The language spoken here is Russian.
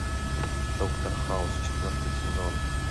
доктор хаус четвертый сезон